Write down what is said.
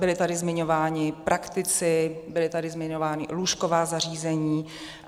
Byli tady zmiňováni praktici, byla tady zmiňována lůžková zařízení.